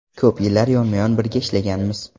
Ko‘p yillar yonma-yon birga ishlaganmiz.